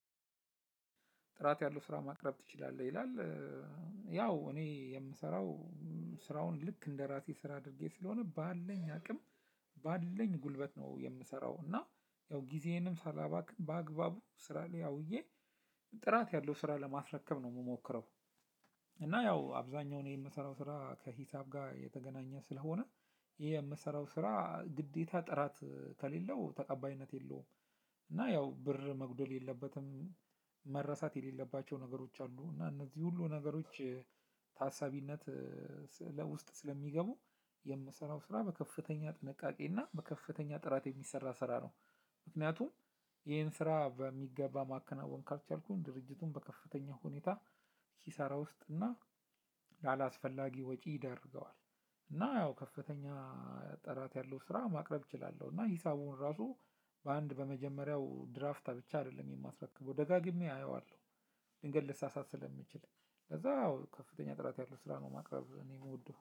ጥራት ያለው ስራ ማቅረብ ትችላለህ ይላል? ያው እኔ የምሰራው ስራውን ልክ እንደራሴ ስራ አድርጌ ስለሆነ ባለኝ አቅም። ባለኝ ጉልበት ነው የምሰራው እና ያው ግዜየንም ሳላባክን ባአግባቡ ስራ ላይ አውየ ጥራት ያለው ስራ ለማስረክብ ነው እምሞክረው። እና ያው አብዛኛውን የምሰራው ስራ ከሂሳብ ጋር የተገናኘ ስለሆነ የምሰራው ስራ ግዴታ ጥራት ከሌለው ተቀባይነት የለውም። እና ያው ብር መጉደል የለበትም። መረሳት የሌለባቸው ነገሮች አሉ እና እነዚህ ሁሉ ነገሮች ታሳቢነት ለውስጥ ስለሚገቡ የምሰራው ስራ በከፍተኛ ጥንቃቄ እና በከፍተኛ ጥራት የሚሰራ ስራ ነው። ምክንያቱም ይሄን ስራ በሚገባ ማከናወን ካልቻልኩኝ ድርጅቱን በከፍተኛ ሁኔታ ኪሳራ እና ላላስፈላጊ ወጪ ይደርገዋል። እና ያው ከፍተኛ ጥራት ያለው ስራ ማቅረብ እችላለሁ እና ሂሳቡን ራሱ በአንድ በመጀመሪያው ድራፍታ ብቻ አይደለም የማስረከበው ደጋግሜ አየዋለሁ። ድንገት ልሳሳት ስለምችል ለዛ ያው ከፍተኛ ጥራት ያለው ስራ ነው ማቅረብ እኔም እምወደው